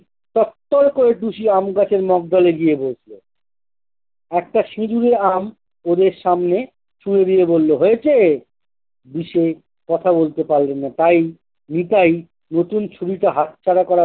তরতর করে টুসি আমি গাছের মগডালে গিয়ে বসল। একটা সিজিয়ে আম ওদের সামনে ছুড়ে দিয়ে বললো-হয়েছে? দিশে কথা বলতে পারসোনা, তাই নিতাই নতুন ছুরিটা হাত ছাড়া করার